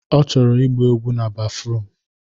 Ọ chọrọ ịgba egwu na bafruum